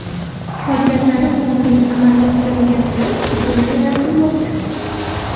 Qolganlari o‘g‘rilik amalga oshirilganini butunlay rad qilmoqda.